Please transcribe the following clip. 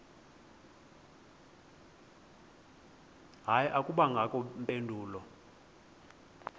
hayi akubangakho mpendulo